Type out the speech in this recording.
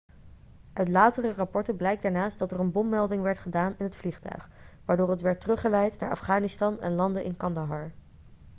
uit latere rapporten blijkt daarnaast dat er een bommelding werd gedaan in het vliegtuig waardoor het werd teruggeleid naar afghanistan en landde in kandahar